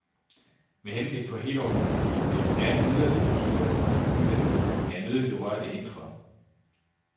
Med henblik på helårsbeboelse vil jeg nu gerne yderligere isolere huset udvendigt, da jeg nødigt vil røre det indre.